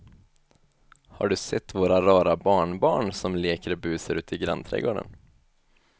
Har du sett våra rara barnbarn som leker och busar ute i grannträdgården!